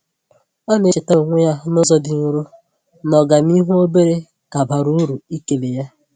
Ọ na-echetaara onwe ya n’ụzọ dị nro na ọganihu obere ka bara uru ịkele ya.